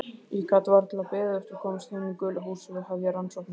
Ég gat varla beðið eftir að komast heim í gula húsið og hefja rannsóknirnar.